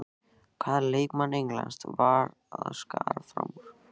Hvaða leikmann Englands verða að skara fram úr?